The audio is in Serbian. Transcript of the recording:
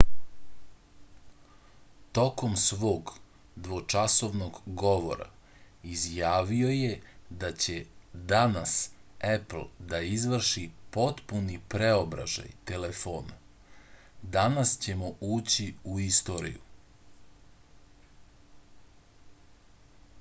tokom svog dvočasovnog govora izjavio je da će danas epl da izvrši potpuni preobražaj telefona danas ćemo ući u istoriju